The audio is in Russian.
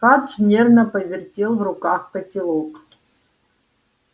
фадж нервно повертел в руках котелок